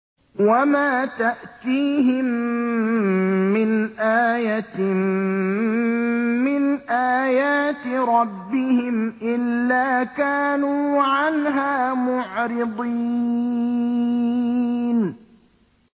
وَمَا تَأْتِيهِم مِّنْ آيَةٍ مِّنْ آيَاتِ رَبِّهِمْ إِلَّا كَانُوا عَنْهَا مُعْرِضِينَ